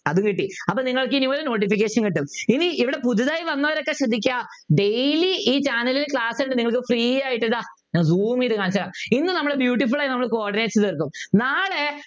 അതും കിട്ടി അപ്പോൾ നിങ്ങൾക്ക് ഇനി ഒരു Notification കിട്ടും ഇനി ഇവിടെ പുതുതായി വന്നവരൊക്കെ ശ്രദ്ധിക്കുക Daily ഈ Channel ൽ Class ഉണ്ട് നിങ്ങൾക്ക് Free ആയിട്ട് ദാ ഇങ്ങനെ zoom ചെയ്ത് കാണിച്ചുതരാം ഇന്ന് നമ്മൾ beautiful ആയി നമ്മൾ coordinates തീർക്കും നാളെ